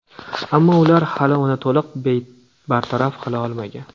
Ammo ular hali uni to‘liq bartaraf qila olmagan.